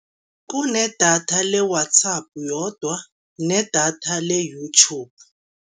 Kunedatha le-WhatsApp yodwa nedatha le-YouTube.